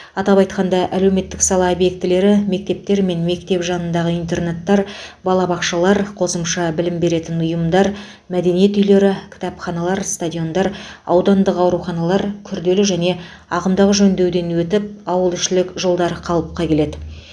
атап айтқанда әлуметтік сала объектілері мектептер мектеп жанындағы интернаттар балабақшалар қосымша білім беретін ұйымдар мәдениет үйлері кітапханалар стадиондар аудандық ауруханалар күрделі және ағымдағы жөндеуден өтіп ауылішілік жолдар қалыпқа келеді